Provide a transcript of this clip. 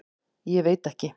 Ég veit ekki.